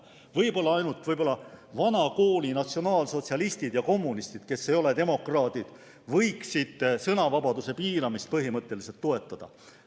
Võib-olla ainult vana kooli natsionaalsotsialistid ja kommunistid, kes ei ole demokraadid, võiksid sõnavabaduse piiramist põhimõtteliselt toetada.